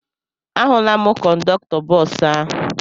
Ahụla m kọndọktọ bọọsụ ahụ.